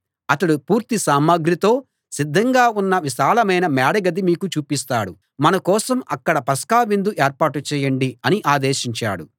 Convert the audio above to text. అతడు పూర్తి సామగ్రితో సిద్ధంగా ఉన్న విశాలమైన మేడ గది మీకు చూపిస్తాడు మన కోసం అక్కడ పస్కా విందు ఏర్పాటు చేయండి అని ఆదేశించాడు